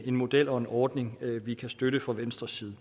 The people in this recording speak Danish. en model og en ordning vi kan støtte fra venstres side i